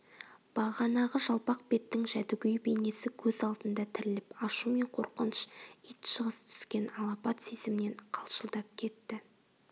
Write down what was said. бағанағы жалпақ беттің жәдігөй бейнесі көз алдында тіріліп ашу мен қорқыныш итжығыс түскен алапат сезімнен қалшылдап кетті